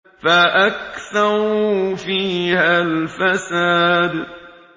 فَأَكْثَرُوا فِيهَا الْفَسَادَ